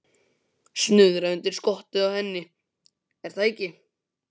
Snuðra undir skottið á henni, er það ekki?